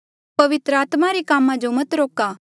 पवित्र आत्मा रे कामा जो मत रोका